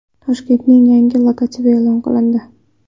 Toshkentning yangi logotipi e’lon qilindi.